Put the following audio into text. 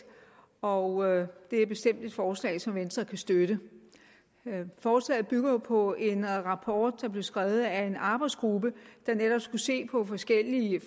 og det er bestemt et forslag som venstre kan støtte forslaget bygger jo på en rapport der blev skrevet af en arbejdsgruppe der netop skulle se på forskellige